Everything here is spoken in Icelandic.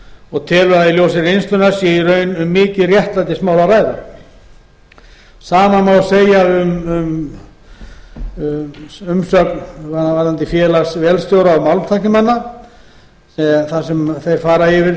og telur að í ljósi reynslunnar sé í raun um mikið réttlætismál að ræða sama má segja um umsögn félags vélstjóra og málmtæknimanna þar sem þeir fara yfir